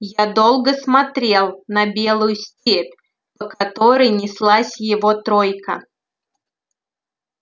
я долго смотрел на белую степь по которой неслась его тройка